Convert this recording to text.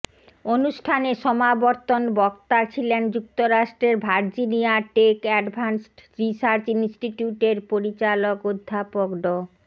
অনুষ্ঠানে সমাবর্তন বক্তা ছিলেন যুক্তরাষ্ট্রের ভার্জিনিয়াটেক অ্যাডভান্সড রিসার্চ ইনস্টিটিউটের পরিচালক অধ্যাপক ড